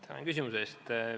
Tänan küsimuse eest!